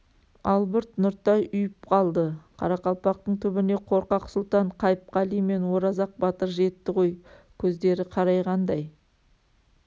албырт нұртай ұйып қалды қарақалпақтың түбіне қорқақ сұлтан қайыпқали мен оразақ батыр жетті ғой көздері қарайғандай